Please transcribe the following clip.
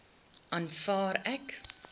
aanvaar ek